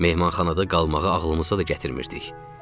Mehmanxanada qalmağa ağlımıza da gətirmirdik.